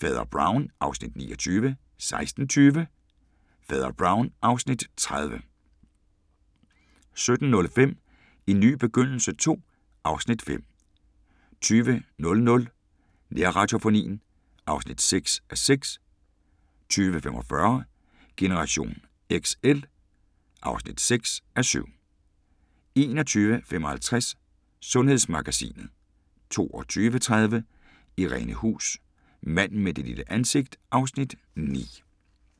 Fader Brown (Afs. 29) 16:20: Fader Brown (Afs. 30) 17:05: En ny begyndelse II (Afs. 5) 20:00: Nærradiofonien (6:6) 20:45: Generation XL (6:7) 21:55: Sundhedsmagasinet